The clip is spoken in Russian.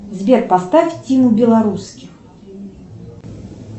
сбер поставь тиму белорусских